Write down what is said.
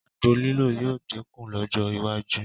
Àgbo lílò yóò dínkù lọ́jọ́ iwájú